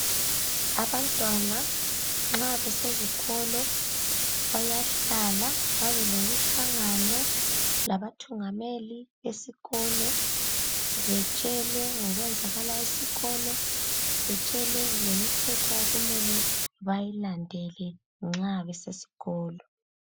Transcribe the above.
Abantwana nxa besezikolo bayahlala babelemhlangano labathungameli besikolo betshelwe ngokwenzakalayo esikolo ,betshelwe lemithetho okumele bayilandele nxa besesikolo